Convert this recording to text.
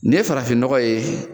Nin ye farafin nɔgɔ ye